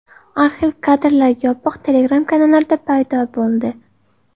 Arxiv kadrlar yopiq Telegram-kanallarda paydo bo‘ldi.